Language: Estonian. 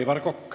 Aivar Kokk.